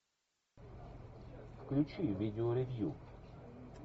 включи видео ревью